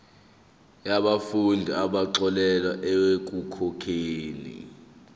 yabafundi abaxolelwa ekukhokheni